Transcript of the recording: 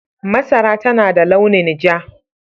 Masara tana da launin ja.